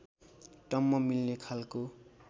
टम्म मिल्ने खालको